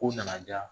Ko nana di yan